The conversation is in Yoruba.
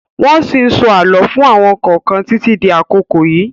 Wọ́n ṣí ń sọ àlọ́ fún àwọn kọ̀ọ̀kan títí di àkókò yìí.